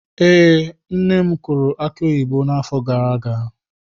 Ee, nne m kụrụ aki oyibo n'afọ gara aga.